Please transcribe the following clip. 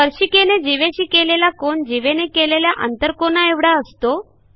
स्पर्शिकेने जीवेशी केलेला कोन जीवेने केलेल्या आंतरकोनाएवढा असतो